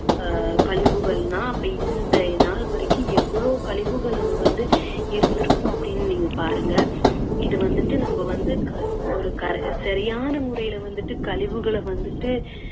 அஹ் கழிவுகள்னா அப்போ இந்த நாள் வரைக்கும் எவ்ளோ கழிவுகள் அங்க வந்து இருந்துருக்கும் அப்படின்னு நீங்க பாருங்க. இது வந்துட்டு நம்ம வந்து க~ ஒரு கழ~ சரியான முறையில வந்துட்டு கழிவுகளை வந்துட்டு